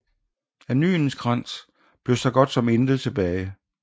Af Nyenskans blev så godt som intet tilbage